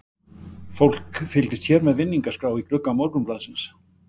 Fólk fylgist hér með vinningaskrá í glugga Morgunblaðsins.